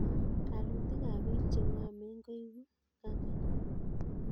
Kalalutik kab bik chengomen koibu kamanut